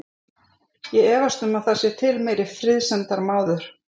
Ég efast um að það sé til meiri friðsemdarmaður.